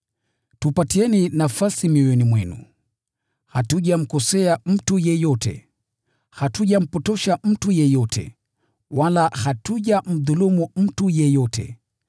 Tupatieni nafasi mioyoni mwenu. Hatujamkosea mtu yeyote, hatujampotosha mtu yeyote, wala hatujamdhulumu mtu yeyote.